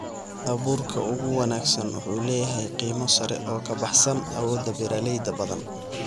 Abuurka ugu wanaagsan wuxuu leeyahay qiimo sare oo ka baxsan awoodda beeralayda badan.